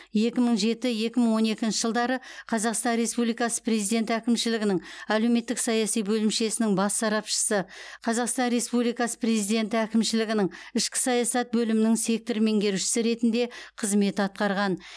екі мың жеті екі мың он екінші жылдары қазақстан республикасы президент әкімшілігінің әлеуметтік саяси бөлімшесінің бас сарапшысы қазақстан республикасы президенті әкімшілігінің ішкі саясат бөлімінің сектор меңгерушісі ретінде қызмет атқарған